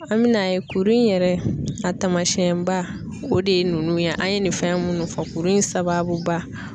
An bɛ n'a ye kuru in yɛrɛ a tamasiyɛn ba o de ye nunnu ye an ye nin fɛn munnu fɔ kuru in sababu ba.